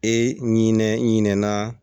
E ɲinɛ ɲinɛ na